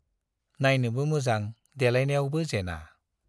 नाइनोबो मोजां देलायनायावबो जेना।